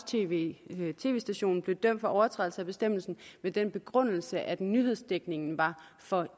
tv tv stationen blev dømt for overtrædelse af bestemmelsen med den begrundelse at nyhedsdækningen var for